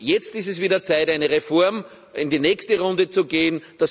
Jetzt ist es wieder Zeit für eine Reform, in die nächste Runde zu gehen.